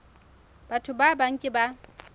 batho ba bang ke ba